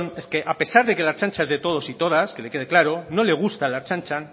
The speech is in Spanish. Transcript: es que a pesar de que la ertzaintza es de todos y todas que le quede claro no le gusta la ertzaintza